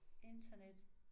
Internet